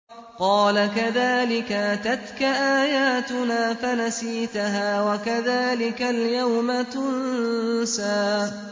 قَالَ كَذَٰلِكَ أَتَتْكَ آيَاتُنَا فَنَسِيتَهَا ۖ وَكَذَٰلِكَ الْيَوْمَ تُنسَىٰ